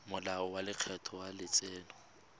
molao wa lekgetho wa letseno